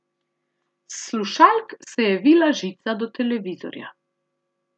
S slušalk se je vila žica do televizorja.